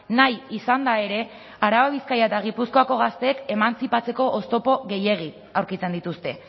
nahi izanda ere araba bizkaia eta gipuzkoako gazteek emantzipatzeko oztopo gehiegi aurkitzen dituzte